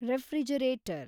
refrigerator